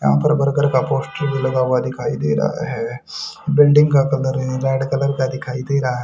यहां बर्गर का पोस्टर भी लगा हुआ दिखाई दे रहा है बिल्डिंग का कलर रेड कलर का दिखाई दे रहा है।